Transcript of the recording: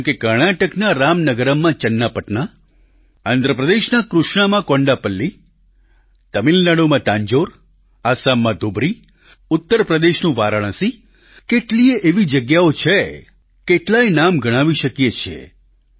જેમકે કર્ણાટકના રામનગરમમાં ચન્નાપટના આંધ્રપ્રદેશના કૃષ્ણામાં કોંડાપલ્લી તામિલનાડુમાં તાંજોર આસામમાં ધુબરી ઉત્તરપ્રદેશનું વારાણસી કેટલીયે એવી જગ્યાઓ છે કેટલાય નામ ગણાવી શકીએ છીએ